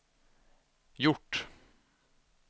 gjort